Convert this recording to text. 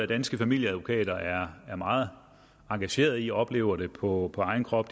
danske familieadvokater er meget engageret i oplever det på egen krop